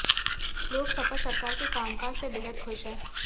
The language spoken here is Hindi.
लोग सपा सरकार के कामकाज से बेहद खुश हैं